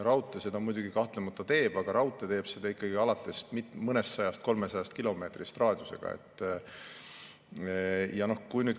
Raudtee seda muidugi kahtlemata teeb, aga raudtee teeb seda raadiusega alates mõnesajast, 300 kilomeetrist.